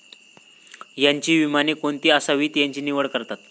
यांची विमाने कोणती असावीत याची निवड करतात.